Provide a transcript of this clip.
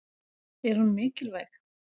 Er hún mikilvæg?